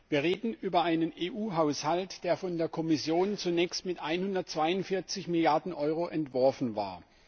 Wir reden über einen EU Haushalt, der von der Kommission zunächst mit 142 Milliarden Euro entworfen war.